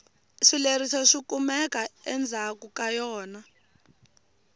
swileriso swikumeka endzhaku ka yona